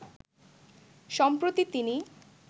সম্প্রতি তিনি